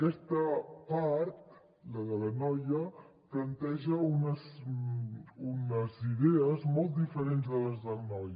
aquesta part la de la noia planteja unes idees molt diferents de les del noi